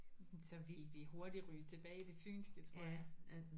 Så ville vi hurtigt ryge tilbage i det fynske tror jeg